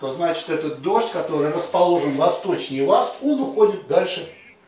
то значит этот дождь который расположен восточнее вас он уходит дальше